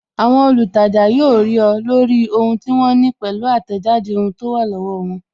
Àwọn olutaja yóò rí ọ, lórí ohun tí wọ́n ní pẹ̀lú atejade ohun tó wà lọ́wọ́ won